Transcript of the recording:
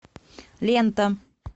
лента